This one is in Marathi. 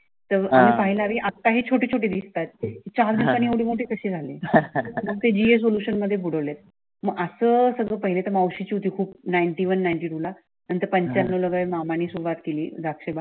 मला पाहणारे आता ही छोटी छोटी दिसतात. चार दिवसाने एवढे मोठी कसे झाली आहे. मग ते GA सोल्युशन मध्ये बुडवले आहेत मगअस हे सगळं पहिले तर मावशीची खूप नैन्टिवन नैंन्टिटूला नंतर मामांनी सुरुवात केली. द्राक्ष बाग